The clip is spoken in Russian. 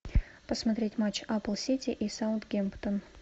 посмотреть матч апл сити и саутгемптон